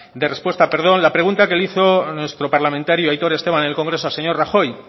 de respuesta la pregunta que le hizo nuestro parlamentario aitor esteban en el congreso al señor rajoy